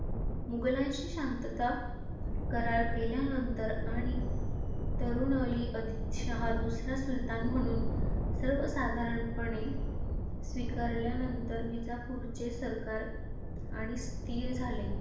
मुघलांशी शांतता करार केल्यानंतर आणि तरुणअली अधिक शाह दुसरा सुलतान म्हणून सर्वसाधारणपणे स्वीकारल्यानंतर विजापूरचे सरकार आणि स्थिर झाले.